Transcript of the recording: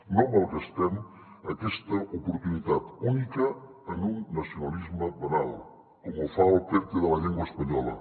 no malgastem aquesta oportunitat única en un nacionalisme banal com ho fa el perte de la llengua espanyola